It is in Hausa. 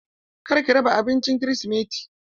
Kar ki raba abincin kirisimeti!